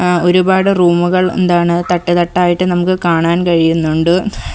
ആ ഒരുപാട് റൂമുകൾ എന്താണ് തട്ടുതട്ടായിട്ട് നമുക്ക് കാണാൻ കഴിയുന്നുണ്ട്.